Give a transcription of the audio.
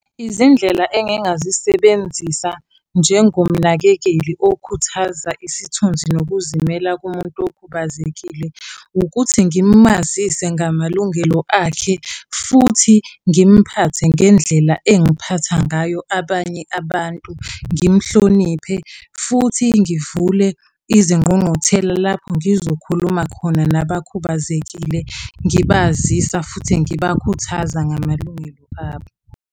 Izindlela engingazisebenzisa njengomnakekeli okhuthaza isithunzi nokuzimela komuntu okhubazekile, ukuthi ngimazise ngamalungelo akhe futhi ngimuphathe ngendlela engiphatha ngayo abanye abantu. Ngimuhloniphe, futhi ngivule izingqungquthela lapho ngizokhuluma khona nabakhubazekile. Ngibazisa futhi ngibakhuthaza ngamalungelo abo.